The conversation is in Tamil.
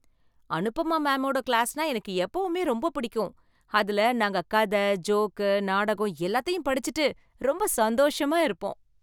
அனுபமா மேமோட கிளாஸ்னா எனக்கு எப்பவுமே ரொம்ப பிடிக்கும். அதுல நாங்க கதை, ஜோக்கு, நாடகம் எல்லாத்தையும் படிச்சிட்டு ரொம்ப சந்தோஷமா இருப்போம்.